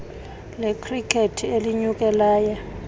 lekhrikethi elinyuke laya